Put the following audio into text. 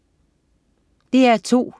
DR2: